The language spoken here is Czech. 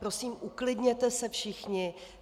Prosím, uklidněte se všichni.